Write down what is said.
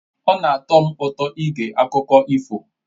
Ọ na-atọ m ụtọ ige akụkọ ifo